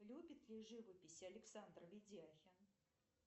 любит ли живопись александр ведяхин